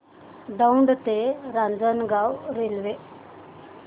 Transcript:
दौंड ते रांजणगाव रेल्वे